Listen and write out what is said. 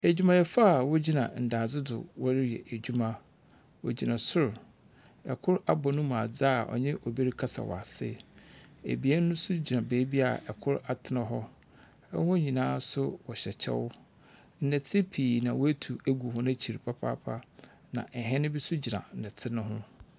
Adwumayɛfo a wogyina ndadze do wɔreyɛ adwuma. Wogyina sor. Kor abɔ ne mu adze a ɔnye obi rekasa wɔ ase. Ebien nso gyina beebi a kor atena hɔ. Hɔn nyinaa nso hyɛ kyɛw. Ndɛtse bebree na wɔatu agu n'akyir papaaapa na hɛn bi nso gyina hɛn no ho.